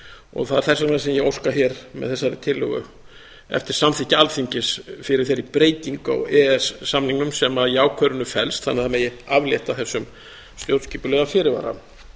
og það er þess vegna sem ég óska hér með þessari tillögu eftir samþykki alþingis fyrir þeirri breytingu á e e s samningnum sem í ákvörðuninni felst þannig að það megi aflétta þessum stjórnskipulega fyrirvara